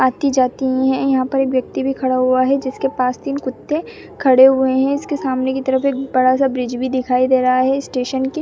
आती-जाती हैं यहाँ पर एक व्यक्ति भी खड़ा हुआ है जिसके पास तीन कुत्ते खड़े हुए हैं इसके सामने की तरफ एक बड़ा सा ब्रिज भी दिखाई दे रहा है स्टेशन के --